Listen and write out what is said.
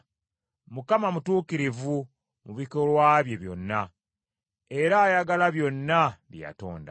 Mukama mutuukirivu mu bikolwa bye byonna era ayagala byonna bye yatonda.